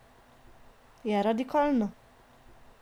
Je radikalno?